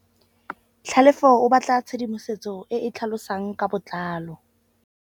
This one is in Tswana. Tlhalefô o batla tshedimosetsô e e tlhalosang ka botlalô.